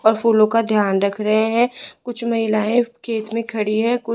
और फूलों का ध्यान रख रहे हैं कुछ महिलाएं खेत में खड़ी है कुछ --